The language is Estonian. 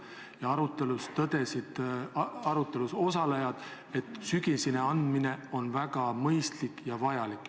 Selles arutelus tõdesid arutelus osalejad, et sügiseni pikenduse andmine on väga mõistlik ja vajalik.